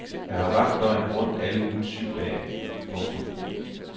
Jeg har vagt døgnet rundt alle ugens syv dage. punktum